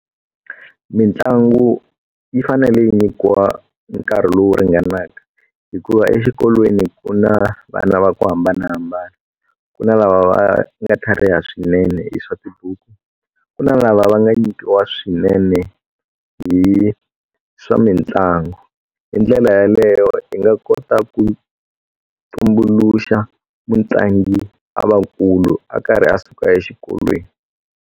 Mitlangu yi fanele yi nyikiwa nkarhi lowu ringanaka hikuva exikolweni ku na vana va ku hambanahambana ku na lava va nga tlhariha swinene hi swa tibuku ku na lava va nga nyikiwa swinene hi swa mitlangu hi ndlela yaleyo u nga kota ku tumbuluxa mutlangi a va nkulu a karhi a suka exikolweni.